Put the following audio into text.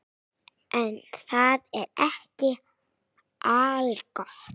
En það er ekki algott.